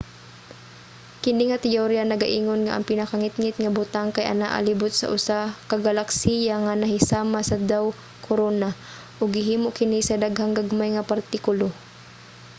kini nga teyorya nagaingon nga ang pinakangitngit nga butang kay anaa libot sa usa ka galaksiya nga nahisama sa daw-korona ug gihimo kini sa daghang gagmay nga partikulo